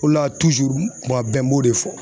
O la tuzuru kuma bɛɛ n b'o de fɔ